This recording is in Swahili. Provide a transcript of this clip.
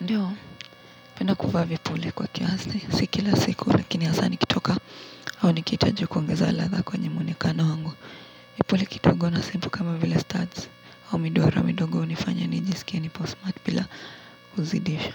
Ndiyo, napenda kuvaa vipule kwa kiasi. Si kila siku lakini hasa nikitoka au nikitaji kuongeza ladha kwenye muonekano wangu. Vipule kidogo na simple kama vile studs au midoro midogo hunifanya nijisikia nipo smart bila kuzidisha.